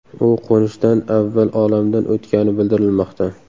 U qo‘nishdan avval olamdan o‘tgani bildirilmoqda.